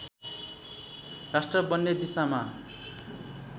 राष्ट्र बन्ने दिशामा